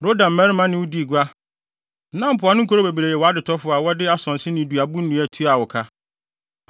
“ ‘Roda mmarima ne wo dii gua, na mpoano nkurow bebree yɛɛ wʼadetɔfo a wɔde asonse ne duabo nnua tuaa wo ka.